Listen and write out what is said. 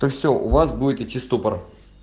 то всё у вас будет идти ступор